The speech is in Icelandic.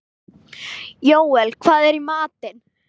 Jóel, hvað er í matinn?